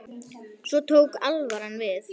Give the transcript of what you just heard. Svo tók alvaran við.